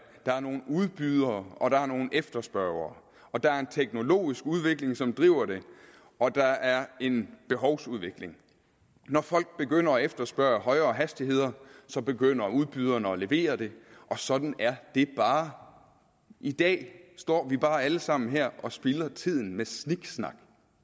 er nogle udbydere og der er nogle efterspørgere der er en teknologisk udvikling som driver det og der er en behovsudvikling når folk begynder at efterspørge højere hastigheder begynder udbyderne at levere det og sådan er det bare i dag står vi bare her alle sammen og spilder tiden med sniksnak